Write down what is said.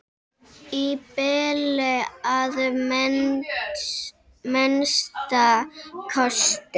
Í bili að minnsta kosti.